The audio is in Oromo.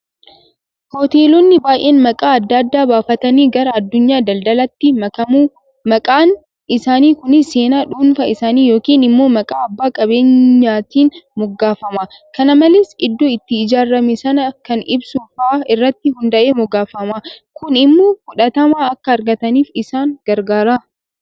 Hoteelonni baay'een maqaa adda addaa baafatanii gara addunyaa daldalaatti makamu. maqaan isaanii kunis seenaa dhuunfaa isaanii yookiin immoo maqaa abbaa qabeenyichaatiin moggaafama. Kana malees iddoo itti ijaarame sana kan ibsu fa'aa irratti hundaa'ee moggaafama. Kun immoo fudhatama akka argataniif isaan gargaara.